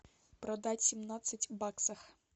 продать семнадцать баксов